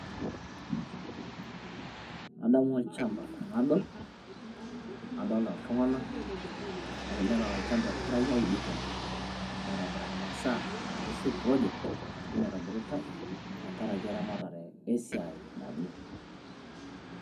Adamu olchamba enadol adolta iltuganak elelek aaolchamba ogirai aibeacon aitobiraki masaa aashu project tenkaraki eramatare wesiai naji